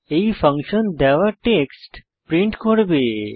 এই ফাংশন দেওয়া text print করবে